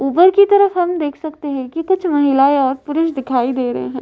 ऊपर की तरफ हम देख सकते हैं कि कुछ महिलाएं और पुरुष दिखाई दे रहे हैं।